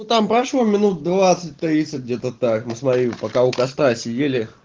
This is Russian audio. там прошло минут двадцать тридцать где-то так не смотри пока у костра сидели